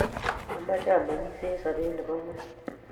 ameche ameng'isie eng' sobet nebo kwekeny